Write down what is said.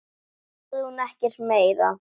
Náðu í skæri, stundi Sveinn.